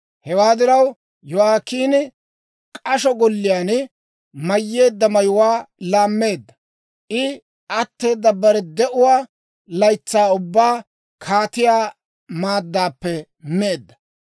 Hewaa diraw, Yo'aakiini k'asho golliyaan mayyeedda mayuwaa laammeedda. I atteeda bare de'uwaa laytsaa ubbaan kaatiyaa maaddaappe meedda.